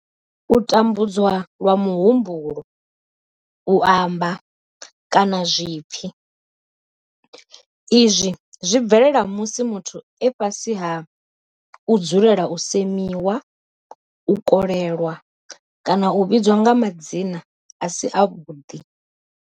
U tambudzwa lwa muhumbulo, u amba, kana zwipfi. Izwi zwi bvelela musi muthu e fhasi ha u dzulela u semiwa, u kolelwa kana u vhidzwa nga madzina a si avhuḓi.